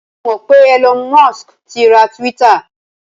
Ǹ jẹ́ o mọ̀ pé Elon Musk ti ra Twitter?